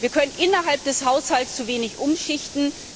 Wir können innerhalb des Haushalts zu wenig umschichten.